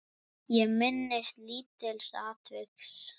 Ég minnist lítils atviks.